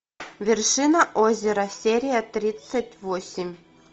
вершина озера серия тридцать восемь